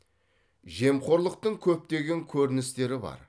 жемқорлықтың көптеген көріністері бар